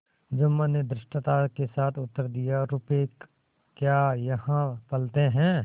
जुम्मन ने धृष्टता के साथ उत्तर दियारुपये क्या यहाँ फलते हैं